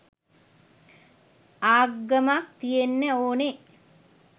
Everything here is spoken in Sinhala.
ආගමක් තියෙන්නේ ඕනේ